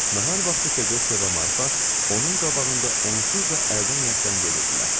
Nahar vaxtı Fedosya və Marfa onun qabağında onsuz da əldən ayaqdan gedirdilər.